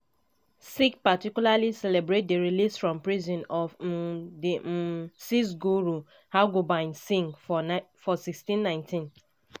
sikhs particularly celebrate di release from prison of um di um sixth guru hargobind singh for1619.